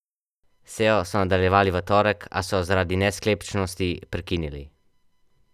Sejo so nadaljevali v torek, a so jo zaradi nesklepčnosti prekinili.